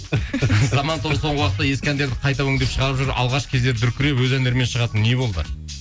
заман тобы соңғы уақытта ескі әндерді қайта өңдеп шығарып жүр алғаш кезде дүркіреп өз әндерімен шығатын не болды